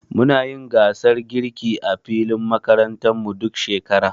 Muna yin gasar girki a filin makarantar mu, duk shekara.